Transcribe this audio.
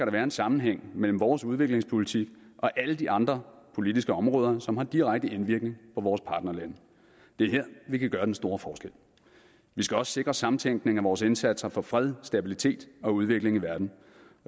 være en sammenhæng mellem vores udviklingspolitik og alle de andre politiske områder som har direkte indvirkning på vores partnerlande det er her vi kan gøre den store forskel vi skal også sikre samtænkning af vores indsatser for fred stabilitet og udvikling i verden